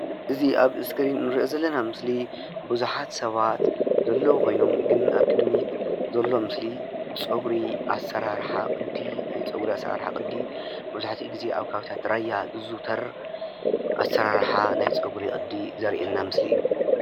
አዚ ኣብ እስክሪን እንርእዮ ዘለና ምስሊ ብዙሓት ሰባት ዘለዉ ኮይኖም ግን ኣብ ቅድሚት ዘሎ ምስሊ ፀጉሪ ኣሰራርሓ ቅዲ ናይ ፀጉሪ ኣሰራርሓ ቅዲ መብዛሕቲኡ ግዜ ኣብ ከባቢታት ራያ ዝዝዉተር ኣሰራርሓ ናይ ፀጉሪ ቅዲ ዘርእየና ምስሊ እዩ፡፡